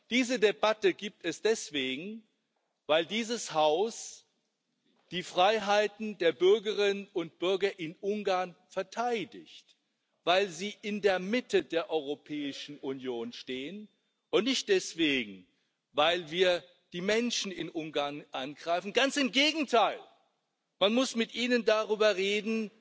Diese Debatte gibt es deswegen, weil dieses Haus die Freiheiten der Bürgerinnen und Bürger in Ungarn verteidigt, weil sie in der Mitte der Europäischen Union stehen, und nicht deswegen, weil wir die Menschen in Ungarn angreifen. Ganz im Gegenteil Man muss mit Ihnen darüber reden,